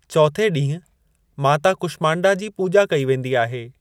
चौथे ॾींहं माता कुष्मांडा जी पूॼा कई वेंदी आहे।